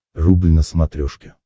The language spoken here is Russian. рубль на смотрешке